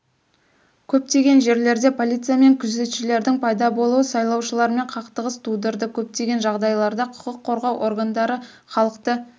көптеген жерлерде полиция мен күзетшілердің пайда болуы сайлаушылармен қақтығыс тудырды көптеген жағдайларда құқық қорғау органдары халықты